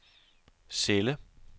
celle